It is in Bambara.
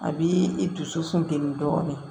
A b'i i dusu funteni dɔɔnin